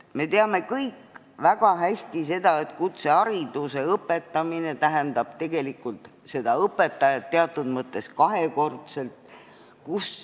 Me teame kõik väga hästi, et kutsehariduse andmine tähendab teatud mõttes õpetajat "kahekordselt".